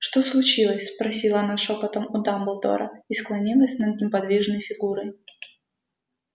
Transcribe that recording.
что случилось спросила она шёпотом у дамблдора и склонилась над неподвижной фигурой